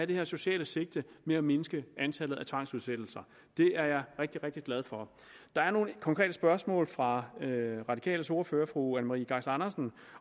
det her sociale sigte med at mindske antallet af tvangsudsættelser det er jeg rigtig rigtig glad for der var nogle konkrete spørgsmål fra radikales ordfører fru anne marie geisler andersen